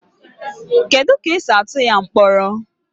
Kedu ka esi atụ ya mkpọrọ